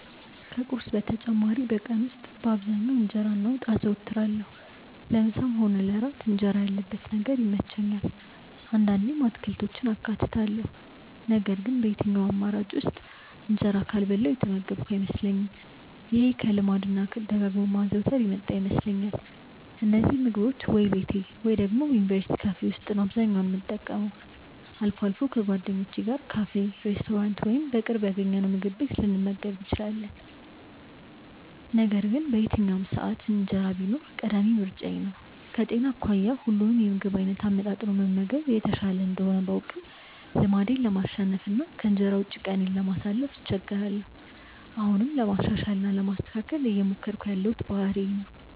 ከቁርስ በተጨማሪ በቀን ውስጥ በአብዛኛው እንጀራ እና ወጥ አዘወትራለሁ። ለምሳም ሆነ ለእራት እንጀራ ያለበት ነገር ይመቸኛል። አንዳንዴም አትክልቶችን አካትታለሁ ነገር ግን በየትኛውም አማራጭ ውስጥ እንጀራ ካልበላሁ የተመገብኩ አይመስለኝም። ይሄ ከልማድ እና ደጋግሞ ከማዘውተር የመጣ ይመስለኛል። እነዚህን ምግቦች ወይ ቤቴ ወይ ደግሞ የዩኒቨርስቲ ካፌ ነው አብዛኛውን የምጠቀመው። አልፎ አልፎ ከጓደኞቼ ጋር ካፌ፣ ሬስቶራንት ወይም በቅርብ ያገኘነውምግብ ቤት ልንመገብ እንችላለን። ነገር ግን በየትኛውም ሰዓት እንጀራ ቢኖር ቀዳሚ ምርጫዬ ነው። ከጤና አኳያ ሁሉንም የምግብ አይነት አመጣጥኖ መመገብ የተሻለ እንደሆነ ባውቅም ልማዴን ለማሸነፍ እና ከእንጀራ ውጪ ቀኔን ለማሳለፍ እቸገራለሁ። አሁንም ለማሻሻል እና ለማስተካከል እየሞከርኩት ያለው ባህሪዬ ነው።